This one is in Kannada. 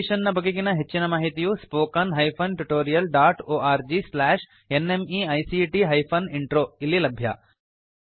ಈ ಮಿಶನ್ ನ ಬಗೆಗಿನ ಹೆಚ್ಚಿನ ಮಾಹಿತಿಯು spoken hyphen tutorial dot org slash NMEICT hyphen intro ದಲ್ಲಿ ಲಭ್ಯ